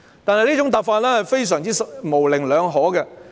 但是，這種答覆非常模棱兩可。